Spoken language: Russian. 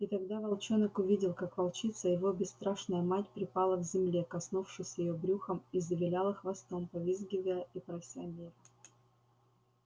и тогда волчонок увидел как волчица его бесстрашная мать припала к земле коснувшись её брюхом и завиляла хвостом повизгивая и прося мира